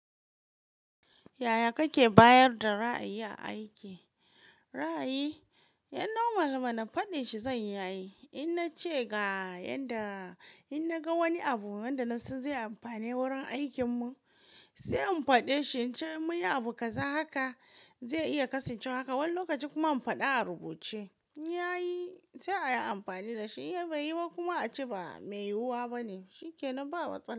Yaya kake bayar da ra'ayi aiki? Ra'ayi, ehh normal mana faɗin shi zan yi, idan na ce ga yanda in na ga wani abu wanda na san zai yi amfani wurin aikin mu, sai in faɗe shi, in ce mu yi abu kaza haka zai iya kasancewa haka. Wani lokacin kuma in faɗa a rubuce, ya yi sai a yi amfani da shi, ya bai yi ba kuma a ce ba mai yiwuwa bane, shi ke nan ba matsala.